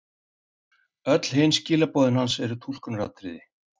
Öll hin skilaboðin hans eru túlkunaratriði.